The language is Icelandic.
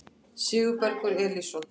Sigurbergur Elísson